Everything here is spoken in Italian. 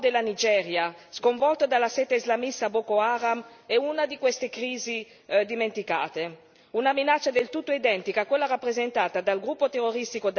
Nell'Africa subsahariana appunto, il caos in cui è piombato il nord della Nigeria, sconvolta dalla sete islamista Boko Haram è una di queste crisi dimenticate.